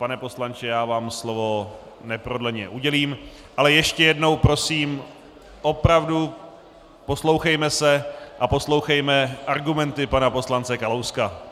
Pane poslanče, já vám slovo neprodleně udělím - ale ještě jednou prosím, opravdu, poslouchejme se a poslouchejme argumenty pana poslance Kalouska.